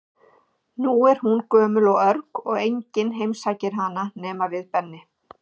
Nú er hún gömul og örg og enginn heimsækir hana nema við Benni.